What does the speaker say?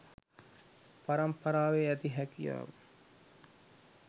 පරම්පරාවේ ඇති හැකියාව